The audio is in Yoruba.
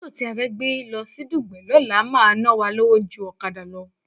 Mótò tí a fẹ́ gbé lọ sí Dùgbẹ̀ lọ́la máa ná wa lówó ju ọ̀kadà lọ